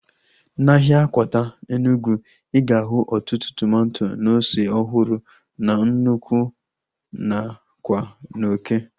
Na ahịa Akwata Enugwu, ịga ahu ọtụtụ tomato na ose ọhụrụ na nnụkwụ nakwa n'oké ala